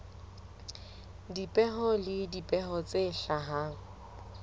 dipeo le dipeo tse hlahang